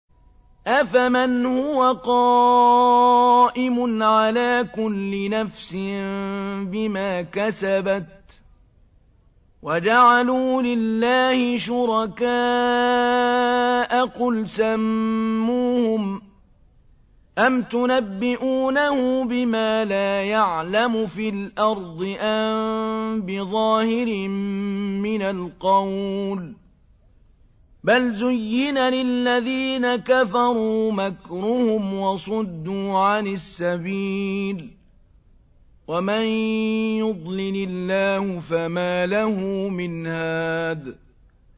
أَفَمَنْ هُوَ قَائِمٌ عَلَىٰ كُلِّ نَفْسٍ بِمَا كَسَبَتْ ۗ وَجَعَلُوا لِلَّهِ شُرَكَاءَ قُلْ سَمُّوهُمْ ۚ أَمْ تُنَبِّئُونَهُ بِمَا لَا يَعْلَمُ فِي الْأَرْضِ أَم بِظَاهِرٍ مِّنَ الْقَوْلِ ۗ بَلْ زُيِّنَ لِلَّذِينَ كَفَرُوا مَكْرُهُمْ وَصُدُّوا عَنِ السَّبِيلِ ۗ وَمَن يُضْلِلِ اللَّهُ فَمَا لَهُ مِنْ هَادٍ